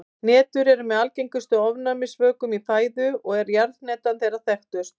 Hnetur eru með algengustu ofnæmisvökum í fæðu og er jarðhnetan þeirra þekktust.